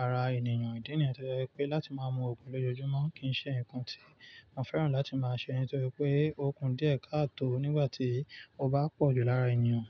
ara ènìyàn ìdí nìyẹn toje wí pé láti máa mú Ògùn lójoojúmọ́ kì í ṣe ǹkan tí mo fẹ́ràn láti máa ṣe nítorí pé Ògùn díẹ̀ káàtò nígbà tí ó bá pọ̀ jù lára ènìyàn.